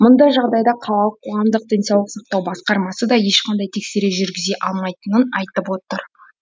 мұндай жағдайда қалалық қоғамдық денсаулық сақтау басқармасы да ешқандай тексеріс жүргізе алмайтынын айтып отыр